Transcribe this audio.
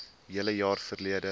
hele jaar verlede